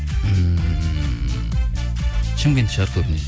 ммм шымкент шығар көбінесе